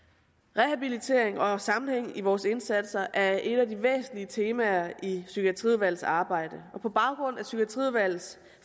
rehabilitering og sammenhæng i vores indsatser er et af de væsentlige temaer i psykiatriudvalgets arbejde på baggrund af psykiatriudvalgets